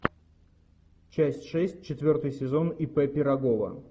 часть шесть четвертый сезон ип пирогова